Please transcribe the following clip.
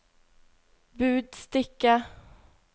budstikke